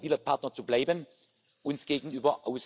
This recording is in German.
sehen. Dies ist ein klares Zeichen. Das Commitment macht uns Mut.